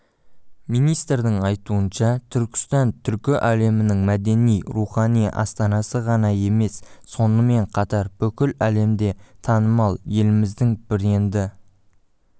министрдің айтуынша түркістан түркі әлемінің мәдени-рухани астанасы ғана емес сонымен қатар бүкіл әлемде танымал еліміздің бренді